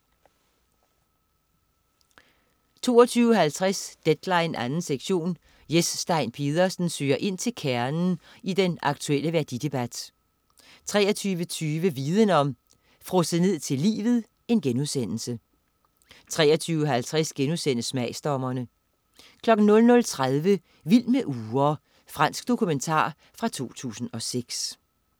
22.50 Deadline 2. sektion. Jes Stein Pedersen søger ind til kernen i den aktuelle værdidebat 23.20 Viden om: Frosset ned til livet* 23.50 Smagsdommerne* 00.30 Vild med ure. Fransk dokumentar fra 2006